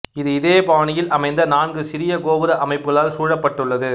இது இதே பாணியில் அமைந்த நான்கு சிறிய கோபுர அமைப்புக்களால் சூழப்பட்டுள்ளது